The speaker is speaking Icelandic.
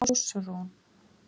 Ásrún